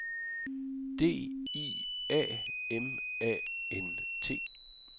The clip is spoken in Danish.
D I A M A N T